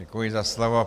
Děkuji za slovo.